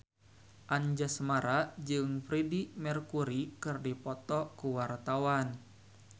Anjasmara jeung Freedie Mercury keur dipoto ku wartawan